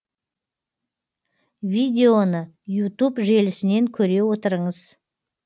видеоны ютуб желісінен көре отырыңыз